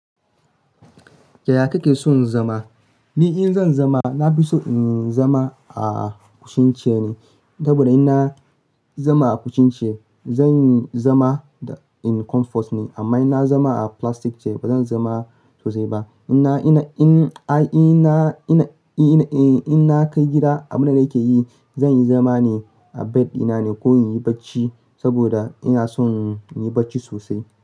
Yaya kake son zama? Ni in zan zama, na fi so in zama a sun ce ne. Saboda ina zama a cushion chair, zan zama in comfort ne. Amma ina zama a plastic chair, bazan zama sosai ba. Ina, ina, in, a, ina, ina, eh, in na kai gida, abin da nake yi, zan yi zama ne a bed dina ne ko in yi bacci saboda ina son yin bacci sosai.